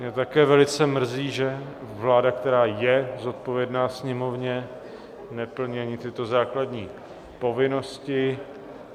Mě také velice mrzí, že vláda, která je zodpovědná Sněmovně, neplní ani tyto základní povinnosti.